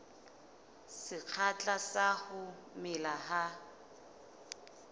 sekgahla sa ho mela ha